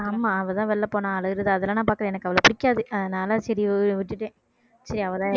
ஆமா அவள்தான் வெளியில போனாள் அழுவுறது அதெல்லாம் நான் பார்க்கிறேன் எனக்கு அவள பிடிக்காது அதனால சரி விட்~ விட்டுட்டேன் சரி அவதான்